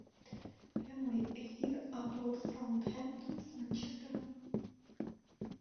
прямой эфир апл саутгемптон с манчестером